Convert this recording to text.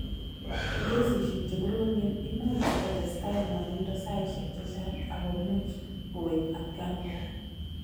Eng' kesishek che koromen, imuch kotestai ng'wanindo saishek chechang' ako much kowek atkan kora.